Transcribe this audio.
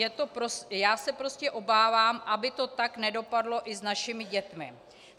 Já se prostě obávám, aby to tak nedopadlo i s našimi dětmi.